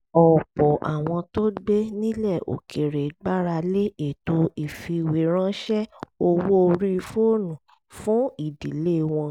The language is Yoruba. ọ̀pọ̀ àwọn tó gbé nílẹ̀ òkèèrè gbára lé ètò ìfìwéránṣẹ́ owó orí fóònù fún ìdílé wọn